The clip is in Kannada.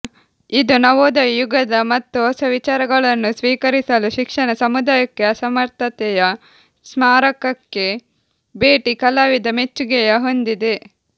ಇದು ನವೋದಯ ಯುಗದ ಮತ್ತು ಹೊಸ ವಿಚಾರಗಳನ್ನು ಸ್ವೀಕರಿಸಲು ಶಿಕ್ಷಣ ಸಮುದಾಯಕ್ಕೆ ಅಸಮರ್ಥತೆಯ ಸ್ಮಾರಕಕ್ಕೆ ಭೇಟಿ ಕಲಾವಿದ ಮೆಚ್ಚುಗೆಯ ಹೊಂದಿದೆ